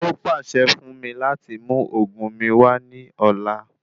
Ó pàṣẹ fún mi láti mú òògùn mí wá ní ọ̀la